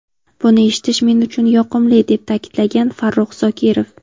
Buni eshitish men uchun yoqimli”, deb ta’kidlagan Farruh Zokirov.